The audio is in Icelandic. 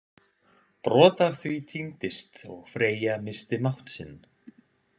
Brot af því týndist og Freyja missti mátt sinn.